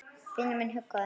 Vinur minn huggaði mig.